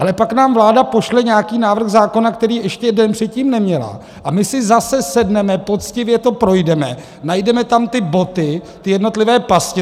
Ale pak nám vláda pošle nějaký návrh zákona, který ještě den předtím neměla, a my si zase sedneme, poctivě to projdeme, najdeme tam ty boty, ty jednotlivé pasti.